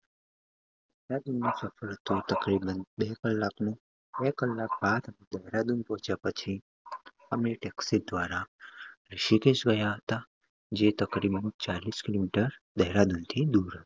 બે કલાક નું બે કલાક બાદ દેહરાદુન પહોચ્યા પછી અમે taxi દ્વારા ઋષિકેશ ગયા હતા ચાલીસ kilometer દેહરાદુન થી દુર હતું.